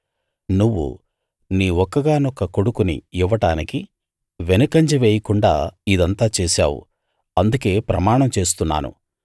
నువ్వు నీ ఒక్కగానొక్క కొడుకుని ఇవ్వడానికి వెనుకంజ వేయకుండా ఇదంతా చేశావు అందుకే ప్రమాణం చేస్తున్నాను